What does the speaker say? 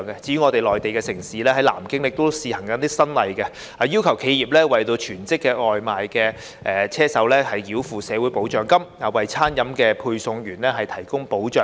至於內地城市南京亦試行新例，要求企業為全職外賣"車手"繳付社會保障金，為餐飲配送員提供保障。